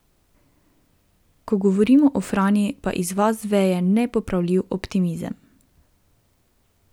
Ko govorimo o Franji, pa iz vas veje nepopravljiv optimizem.